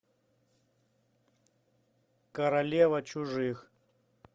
королева чужих